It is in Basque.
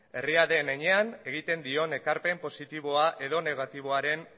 herria den enean egin dion ekarpen positiboa edo negatiboaren